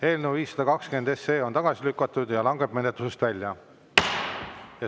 Eelnõu 520 on tagasi lükatud ja langeb menetlusest välja.